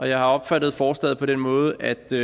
jeg har opfattet forslaget på den måde at det